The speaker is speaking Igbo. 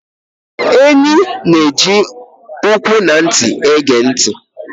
Enyị́ nà-ẹji ụkwụ na ntị égè ntị.